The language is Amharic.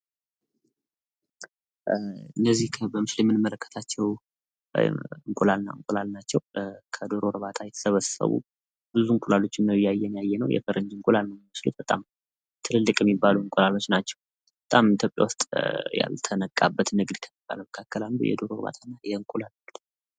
እነዚህ በምስሉ ላይ የምንመለከታቸው እንቁላሎች ናቸው ። ከዶሮ እርባታ የተሰበሰቡ በጣም ብዙ እንቁላሎች ናቸው። የፈረንጅ እንቁላል ይመስላል። ኢትዮጵያ ውስጥ ያልተነቃበት የዶሮ እንቁላል ምርት ነው።